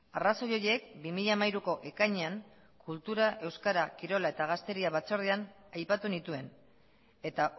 arrazoi horiek bi mila hamairuko ekainean kultura euskara kirola eta gazteria batzordean aipatu nituen eta